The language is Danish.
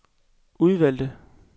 udvalgte